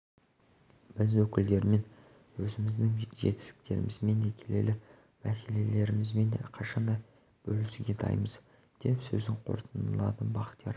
біз өкілдерімен өзіміздің жетістіктерімізбен де келелі мәселелерімізбен де қашанда бөлісуге дайынбыз деп сөзін қорытындылады бақтияр